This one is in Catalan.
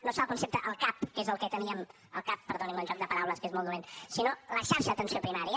no serà el concepte el cap que és el que teníem al cap perdonin me el joc de paraules que és molt dolent sinó la xarxa d’atenció primària